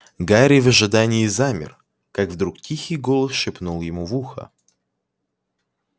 гарри в ожидании замер как вдруг тихий голос шепнул ему в ухо